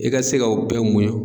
I ka se ka o bɛɛ muɲu